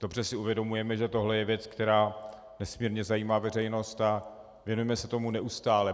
Dobře si uvědomujeme, že tohle je věc, která nesmírně zajímá veřejnost, a věnujeme se tomu neustále.